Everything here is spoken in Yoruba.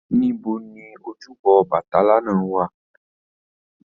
Níbo ni ojúbọ ọbàtálá náà wà?